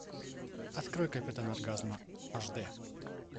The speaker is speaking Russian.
открой капитан оргазма аш д